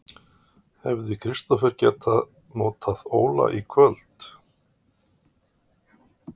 Hefði Kristófer getað notað Óla í kvöld?